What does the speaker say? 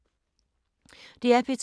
DR P2